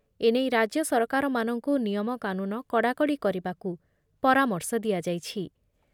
ଏନେଇ ରାଜ୍ୟ ସରକାରମାନଙ୍କୁ ନିୟମକାନୁନ କଡ଼ାକଡ଼ି କରିବାକୁ ପରାମର୍ଶ ଦିଆଯାଇଛି ।